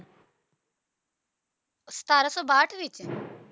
ਸਤਾਰਹ ਸੌ ਬਾਸਦ ਈਸਵੀ ਵਿੱਚ